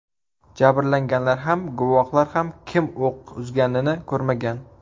Jabrlanganlar ham, guvohlar ham kim o‘q uzganini ko‘rmagan.